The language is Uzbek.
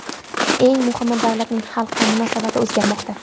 Eng muhimi, davlatning xalqqa munosabati o‘zgarmoqda.